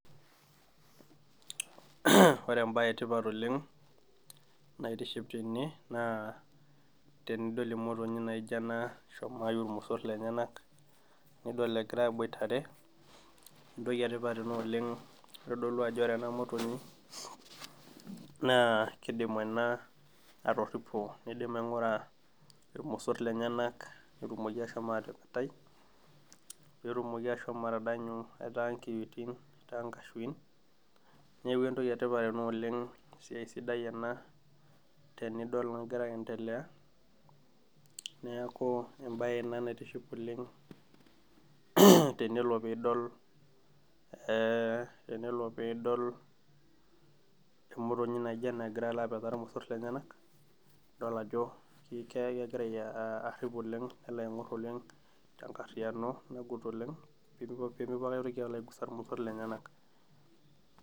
Uh ore embaye etipat oleng naitiship tene naa tenidol emotonyi naijio ena eshomo aiu ilmosorr lenyenak nidol egira aboitare entoki etipat ina oleng kitodolu ajo ore ena motonyi naa kidim ena atorripo nidim aing'ura irmosorr lenyenak petumoki ashomo atepetai petumoki ashomo atadanyu etaa inkiyioitin etaa inkashuin neeku entoki etipat ena oleng esiai sidai ena tenidol nagira aendelea neeku embaye ena naitiship oleng tenelo piidol e tenelo piidol emotonyi naijio ena egira alo apetaa irmosorr lenyenak idol ajo ki kegira uh arrip oleng nelo aing'orr oleng tenkarriyiano nagut oleng pemipu pemepuo ake aetoki aigusa irmosorr lenyenak.